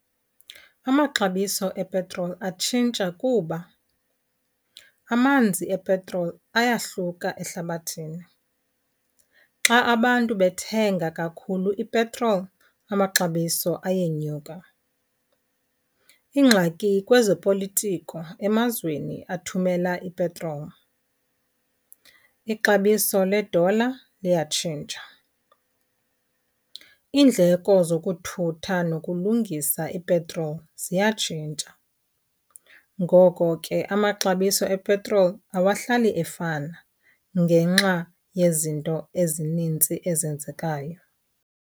Amaxabiso epetroli atshintsha kuba amanzi epetroli eyahluka ehlabathini. Xa abantu bethenga kakhulu ipetroli amaxabiso ayenyuka. Iingxaki kwezopolitiko emazweni athumela ipetroli, ixabiso le-dollar liyatshintsha, iindleko zokuthutha nokulungisa ipetroli ziyatshintsha. Ngoko ke amaxabiso epetroli awahlali efana ngenxa yezinto ezininzi ezenzekayo.